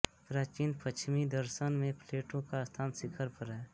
प्राचीन पश्चिमी दर्शन में प्लेटो का स्थान शिखर पर है